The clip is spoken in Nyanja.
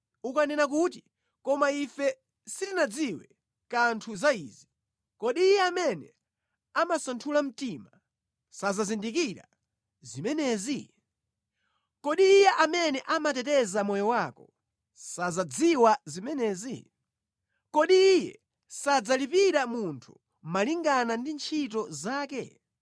Ukanena kuti, “Koma ife sitinadziwe kanthu za izi,” kodi Iye amene amasanthula mtima sazindikira zimenezi? Kodi Iye amene amateteza moyo wako sazidziwa zimenezi? Kodi Iye sadzalipira munthu malingana ndi ntchito zake?